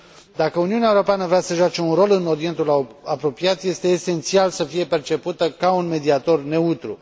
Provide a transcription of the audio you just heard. Dacă Uniunea Europeană vrea să joace un rol în Orientul Apropiat, este esențial să fie percepută ca un mediator neutru.